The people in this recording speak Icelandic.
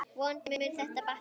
Vonandi mun þetta batna.